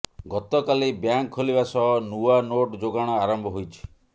ଗତକାଲି ବ୍ୟାଙ୍କ ଖୋଲିବା ସହ ନୂଆ ନୋଟ୍ ଯୋଗାଣ ଆରମ୍ଭ ହୋଇଛି